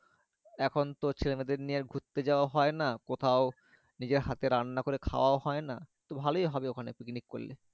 এখন তো ছেলে দের নিয়ে ঘুরতে যাওয়া হয় না কোথাও নিজে হাতে রান্না খাওয়া হয়না তো ভালো হবে ওখানে picnic করলে।